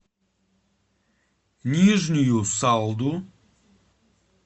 нижнюю салду